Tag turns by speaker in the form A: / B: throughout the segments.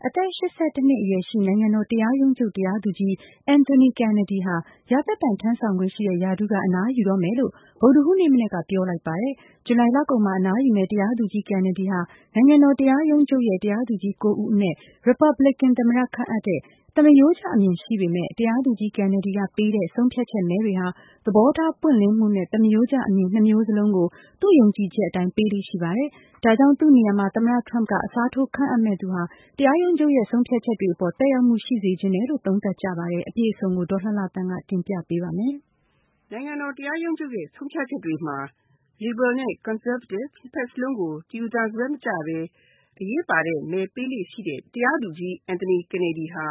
A: အသက် နှစ်အရွယ်ရှိ နိုင်ငံတော်တရားရုံးချုပ် တရားသူကြီး Anthony McLeod Kennedy ဟာ ရာသက်ပန် ထမ်းဆောင်ခွင့်ရှိတဲ့ ရာထူးက အနားယူတော့မယ်လို့ ဗုဒ္ဓဟူးနေ့မနက်က ပြောလိုက်ပါတယ်။ ဇူလိုင်လကုန်မှာ အနားယူမယ့် တရားသူကြီး Kennedy ဟာ နိုင်ငံတော်တရားရုံးချုပ်ရဲ့ တရားသူကြီး ဦးအနက် Republican သမ္မတခန့်အပ်တဲ့ သမရိုးကျအမြင် ရှိသူဖြစ်ပေမယ့်၊ တရားသူကြီး Kennedy ကပေးတဲ့ ဆုံးဖြတ်ချက်မဲတွေဟာ သဘောထားပွင့်လင်းမှုနဲ့ သမရိုးကျအမြင် နှစ်မျိုးစလုံးကို သူ့ယုံကြည်ချက်အတိုင်း ပေးလေ့ ရှိပါတယ်။ ဒါကြောင့် သူ့နေရာမှာ သမ္မတထရမ့်က အစားထိုး ခန့်အပ်မယ့်သူဟာ တရားရုံးချုပ်ရဲ့ ဆုံးဖြတ်ချက်တွေအပေါ် သက်ရောက်မှု ရှိစေချင်တယ်လို့ သုံးသပ်ကြပါတယ်။ အပြည့်အစုံကို ဒေါ်လှလှသန်းက တင်ပြထားပါတယ်
B: ။ နိုင်ငံတော်တရားရုံးချုပ်ရဲ့ ဆုံးဖြတ်ချက်တွေမှာ လစ်ဘရယ်နဲ့ ကွန်ဆာဗေးတစ် နှစ်ဖက်စလုံးကို တယူသန်စွဲ မကျပဲ အရေးပါတဲ့မဲပေးလေ့ ရှိတဲ့ တရားသူကြီး Anthony Kennedy ဟာ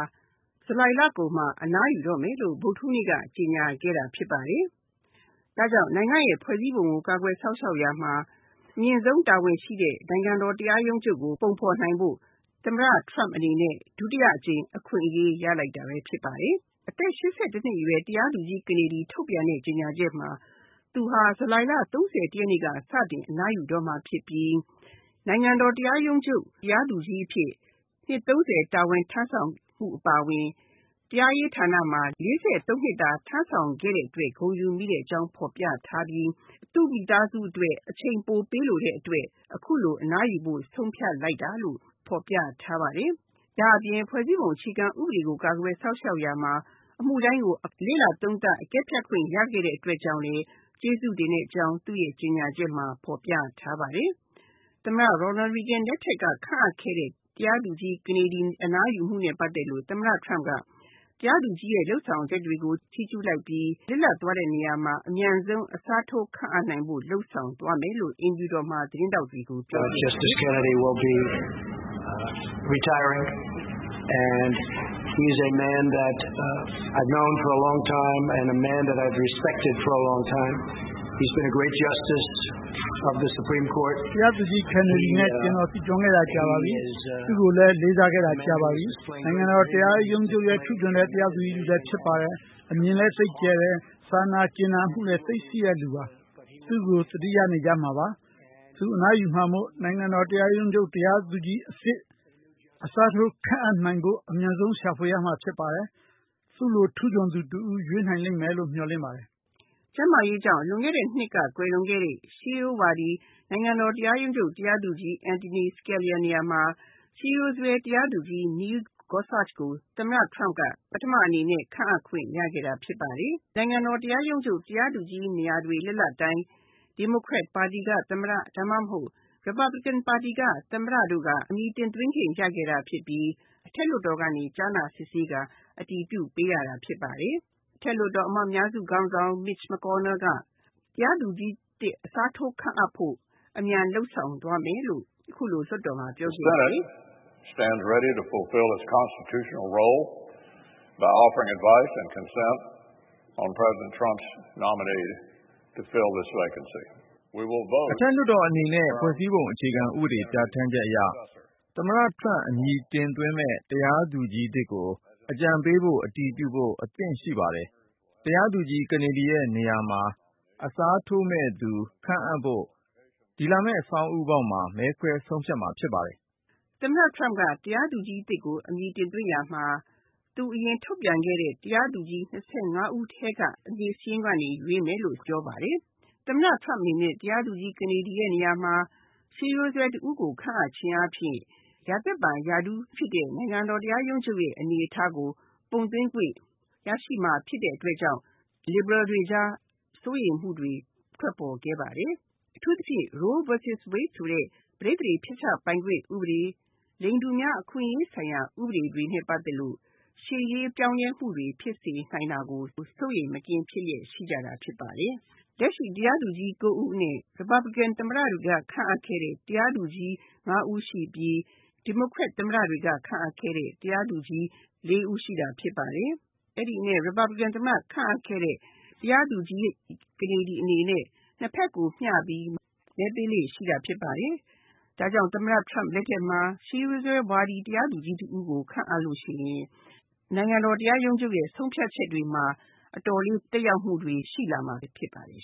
B: ဂျူလိုင်လကုန်မှာ အနားယူတော့မယ်လို့ ဗုဒ္ဓဟူးနေ့က ကြေညာခဲ့တာဖြစ်ပါတယ်။ ဒါ့ကြောင့် နိုင်ငံ့ရဲ့ဖွဲ့စည်းပုံကို ကာကွယ်စောင့်ရှောက်ရာမှာ အမြင့်ဆုံးတာဝန်ရှိတဲ့ နိုင်ငံတော် တရားရုံးချုပ်ကို ပုံဖေါ်နိုင်ဖို့ သမ္မတထရမ့်အနေနဲ့ ဒုတိယအကြိမ် အခွင့်အရေး ရလိုက်တာပဲဖြစ်ပါတယ်။ အသက် နှစ်အရွယ် တရားသူကြီး Kennedy ထုတ်ပြန်တဲ့ ကြေညာချက်မှာ သူဟာ ဇူလိုင်လ ရက်နေ့က စတင်အနားယူတော့မှာဖြစ်ပြီး နိုင်ငံတော်တရားရုံးချုပ် တရားသူကြီးအဖြစ် နှစ် တာဝန်ထမ်းဆောင်မှု အပါအဝင် တရားရေးဌာနမှာ နှစ်တာ တာဝန်ထမ်းခဲ့တဲ့အတွက် ဂုဏ်ယူမိကြောင်း ဖေါ်ပြထားပြီး သူ့မိသားစုအတွက် အချိန်ပိုပေးချင်တဲ့ အတွက် အခုလို အနားယူဖို့ ဆုံးဖြတ်လိုက်တာလို့ ဖေါ်ပြထားပါတယ်။ ဒါ့အပြင် ဖွဲ့စည်းပုံအခြေခံဥပဒေကို ကာကွယ်စောင့်ရှောက်ရာမှာ အမှုတိုင်းကို လေ့လာသုံးသပ် အကဲဖြတ်ခွင့် ရခဲ့တဲ့အတွက်ကြောင့်လည်း ကျေးဇူးတင်ကြောင်း သူ့ကြေညာချက်မှာ ဖေါ်ပြထားပါတယ်။ သမ္မတ Ronald Reagan လက်ထက်က ခန့်အပ်ခဲ့တဲ့ တရားသူကြီး Kennedy အနားယူမှုနဲ့ ပတ်သက်လို့ သမ္မတထရမ့်က တရားသူကြီးရဲ့ လုပ်ဆောင်ချက်တွေကို ချီးကျူးလိုက်ပြီး လစ်လပ်သွားတဲ့နေရာမှာ အမြန်ဆုံး အစားထိုးခန့်အပ်နိုင်ဖို့ လုပ်ဆောင်သွားမယ်လို့ အိမ်ဖြူတော်မှာ သတင်းထောက်တွေကို ပြောကြားခဲ့ပါတယ်။ “ တရားသူကြီး
A: Kennedy နဲ့ ကျွန်တော် သိကျွမ်းခဲ့တာ ကြာပါပြီ။ သူ့ကိုလည်း လေးစားခဲ့တာ ကြာပါပြီ။ နိုင်ငံတော် တရားရုံးချုပ်ရဲ့ ထူးချွန်တဲ့ တရားသူကြီး တဦးလည်း ဖြစ်ပါတယ်။ အမြင်လည်း သိပ်ကျယ်တယ်။ စာနာ ကြင်နာမှုလည်း သိပ်ရှိတဲ့ သူပါ။ သူ့ကို သတိရနေကြမှာပါ။ သူအနားယူမှာမို့ နိုင်ငံတော် တရားရုံးချုပ် တရားသူကြီးအသစ် အစားထိုး ခန့်အပ်နိုင်ဖို့ အမြန်ဆုံး ရှာဖွေရမှာ ဖြစ်ပါတယ်။ သူ့လို ထူးချွန်သူ တဦး ရွေးနိုင်လိမ့်မယ်လို့ မျှော်လင့်ပါတယ်။ ”
B: ကျန်းမာရေးကြောင့် လွန်ခဲ့တဲ့နှစ်က ကွယ်လွန်ခဲ့တဲ့ ရှေးရိုးဝါဒီ နိုင်ငံတော် တရားရုံးချုပ် တရားသူကြီး Antonin Scalia နေရာမှာ ရှေးရိုးစွဲ တရားသူကြီး Neil Gorsuch ကို သမ္မတ Trump က ပထမအနေနဲ့ ခန့်အပ်ခွင့် ရခဲ့တာ ဖြစ်ပါတယ်။ နိုင်ငံတော် တရားရုံးချုပ် တရားသူကြီး နေရာတွေ လစ်လပ်တိုင်း ဒီမိုကရက်ပါတီက သမ္မတ ဒါမှမဟုတ် ရီပတ်ဘလစ်ကင် ပါတီက သမ္မတတို့က အမည်တင်သွင်း ခဲ့ကြတာ ဖြစ်ပြီး အထက်လွှတ်တော်က ကြားနာစစ်ဆေးကာ အတည်ပြု ပေးရတာဖြစ်ပါတယ်။ အထက်လွှတ်တော် အမတ်အများစု ခေါင်းဆောင် Mitch McConnell က တရားသူကြီးအသစ် အစားထိုး ခန့်အပ်ဖို့ အမြန်လုပ်ဆောင် သွားမယ်လို့ အခုလိုလွှတ်တော်မှာ ပြောဆိုပါတယ်။ “ အထက်လွှတ်တော်
A: အနေနဲ့ ဖွဲ့စည်းပုံအခြေခံဥပဒေ ပြဌာန်းချက်အရ သမ္မတ Trump အမည်တင်သွင်းမယ့် တရားသူကြီးသစ်ကို အကြံပေးဖို့ အတည်ပြုဖို့ အသင့်ရှိပါတယ်။ တရားသူကြီး Kennedy ရဲ့ နေရာမှာ အစားထိုးမယ့်သူ ခန့်အပ်ဖို့ ဒီလာမယ့် ဆောင်းဦးပေါက်မှာ မဲခွဲ ဆုံးဖြတ်မှာ ဖြစ်ပါတယ်
B: ။ ” သမ္မတ Trump က တရားသူကြီး အသစ်ကို အမည်တင်သွင်းရာမှာ သူအရင် ထုတ်ပြန်ခဲ့တဲ့ တရားသူကြီး ၂၅ ဦး ထဲက အမည်စာရင်းကနေ ရွေးမယ်လို့ ပြောပါတယ်။ သမ္မတ Trump အနေနဲ့ တရားသူကြီး ကနေဒီရဲ့ နေရာမှာ ရှေးရိုးစွဲ တဦးကို ခန့်အပ်ခြင်းအားဖြင့် ရာသက်ပန်ရာထူး ဖြစ်တဲ့ နိုင်ငံတော် တရားရုံးချုပ်ရဲ့ အနေအထားကို ပုံသွင်းခွင့် ရရှိမှာ ဖြစ်တဲ့ အတွက်ကြောင့် လစ်ဘရယ်တွေ ကြား စိုးရိမ်မှုတွေ ထွက်ပေါ်ခဲ့ပါတယ်။ အထူူးသဖြင့် Roe vs Wade ဆိုတဲ့ ပဋိသန္ဓေ ဖျက်ချပိုင်ခွင့် ဥပဒေ၊ လိင်တူများ အခွင့်အရေး ဆိုင်ရာ ဥပဒေတွေနဲ့ ပတ်သက်လို့ ရှေ့ရေး ပြောင်းလဲမှုတွေ ဖြစ်စေနိုင်တာကို စိုးရိမ်မကင်း ဖြစ်နေကြတာ ဖြစ်ပါတယ်။ လက်ရှိတရားသူကြီး ၉ ဦးအနက် ရီပတ်ဘလစ်ကင်သမ္မတတွေက ခန့်အပ်ခဲ့တဲ့ တရားသူကြီး ၅ ဦးရှိပြီး ဒီမိုကရက်သမ္မတတွေက ခန့်အပ်ခဲ့တဲ့ တရားသူကြီး ၄ ဦး ရှိတာ ဖြစ်ပါတယ်။ အဲဒီအနက် ရီပတ်ဘလစ်ကင် သမ္မတ ခန့်အပ်ခဲ့တဲ့ တရားသူကြီး ကနေဒီ အနေနဲ့ ၂ ဖက်ကို မျှပြီး မဲပေးလေ့ ရှိတာ ဖြစ်ပါတယ်။ ဒါကြောင့် သမ္မတ Trump လက်ထက်မှာ ရှေးရိုးစွဲဝါဒီ တရားသူကြီး တဦးကို ခန့်အပ်လို့ ရှိရင် နိုင်ငံတော် တရားရုံးချုပ်ရဲ့ ဆုံးဖြတ်ချက်တွေမှာ အတော်လေး သက်ရောက်မှုတွေ ရှိလာနိုင်မှာ ဖြစ်ပါတယ်